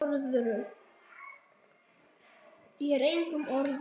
Þér og engum öðrum.